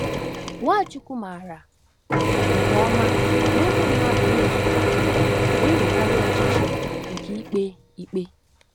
Nwachukwu maara nke ọma na ụmụ mmadụ na-ezughị okè na-enwekarị ọchịchọ nke ikpe ikpe.